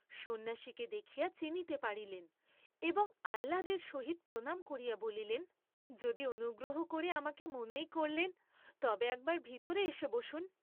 সন্ন্যাসীকে দেখিয়া চিনিতে পারিলেন এবং আহ্লাদের সহিত প্রণাম করিয়া বলিলেন, যদি অনুগ্রহ কবে আমাকে মনেই করলেন, তবে একবার ভিতরে এসে বসুন।